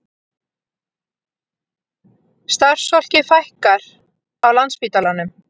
Starfsfólki fækkar á Landspítalanum